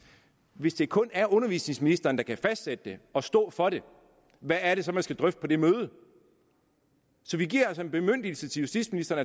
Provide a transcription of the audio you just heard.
hvis det kun er undervisningsministeren der kan fastsætte det og stå for det hvad er det så man skal drøfte på det møde så vi giver altså en bemyndigelse til justitsministeren